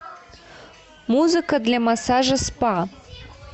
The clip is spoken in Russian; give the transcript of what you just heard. музыка для массажа спа